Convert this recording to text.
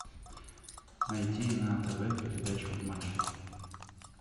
найти на тв передачу матч